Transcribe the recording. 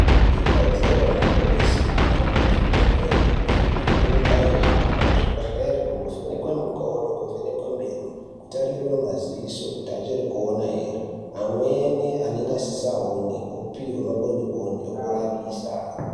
Ikodzero yemuntu weshe kuhambe kuzvibhedhleri, antu anombaa hamba kuzvibhedhleri kunovhenekwe mikodo nekuvhenekwe meno, kutarirwe maziso kuti achiri kuona here, amweni anenge asisa one opiwa boneboni ekurapisa.